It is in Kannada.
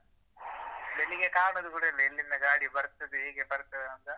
ಕಷ್ಟ ಬೆಳಿಗ್ಗೆ ಕಾಣುದು ಕೂಡ ಇಲ್ಲ ಎಲ್ಲಿಂದ ಗಾಡಿ ಬರ್ತದೆ ಹೇಗೆ ಬರ್ತದಂತ